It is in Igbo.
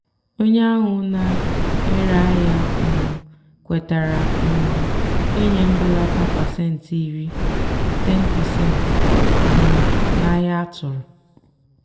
onye ahụ na-ere ahịa um kwetara um ịnye mbelata pasentị iri (10%) um n'ahia atụ̀rụ̀.